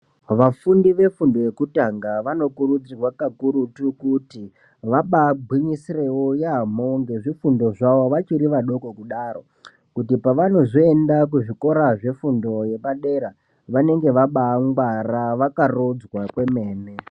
Vafundi vefundo yekutanga vanokurudzirwa kakurutu, kuti vabaagwinyiserewo yaamho ngezvifundo zvavo, vachiri vadoko kudaro. Kuti pevanozoenda kuzvikora zvefundo yepadera, vanenge vabaangwara vakarodzwa kwemene.